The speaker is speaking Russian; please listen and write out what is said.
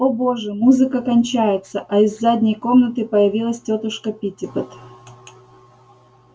о боже музыка кончается а из задней комнаты появилась тётушка питтипэт